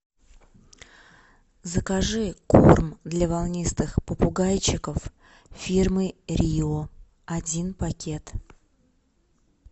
закажи корм для волнистых попугайчиков фирмы рио один пакет